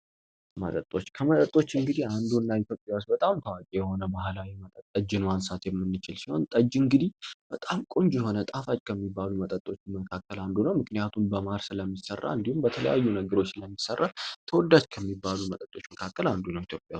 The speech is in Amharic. መጦከመጠጦች እንግዲህ አንዱ እና ቶያስ በጣም ታዋቂ የሆነ ባህላዊ መጠጠጅን ዋንሳት የምንችል ሲሆን ጠጅ እንግዲህ በጣም ቆንጂ የሆነ ጣፋጭ ከሚባሉ መጠጦች መካከል አንዱ ነው ምክንያቱን በማህር ስለሚሠራ እንዲሁም በተለያዩ ነግሮች ስለሚሠራ ተወዳጅ ከሚባሉ መጠጦች መካከል አንዱ ነው፡፡